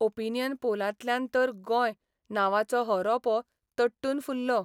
Opinion पोलांतल्यान तर 'गोय 'नांवाचो हो रोपो तट्टून फुल्लो.